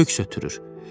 Köks ötürür.